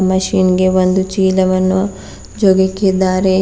Machine ಗೆ ಒಂದು ಚೀಲವನ್ನು ಜೋಗಿಕ್ಕಿದ್ದಾರೆ.